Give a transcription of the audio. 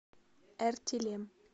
эртилем